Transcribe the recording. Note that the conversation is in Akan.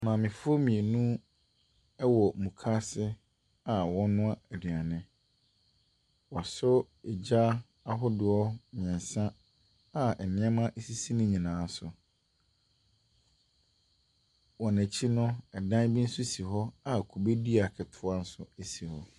Maamefoɔ mmienu ɛwɔ mukaase a wɔrenoa aduane. Wɔaso egya ahodoɔ mmiɛnsa a nneema esisi ne nyinaa so. Wɔn akyi no, ɛdan bi nso esi hɔ a kubedua ketewa bi nso esi mu.